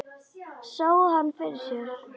Sá hana fyrir sér.